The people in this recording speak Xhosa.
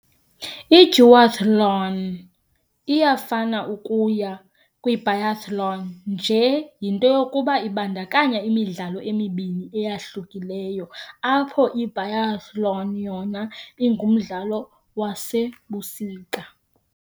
Le duathlon unalo zifana ukuya Biathlon nje into yokuba ibandakanya imidlalo ezimbini, ezahlukeneyo ukususela oku ukuba umdlalo ebusika.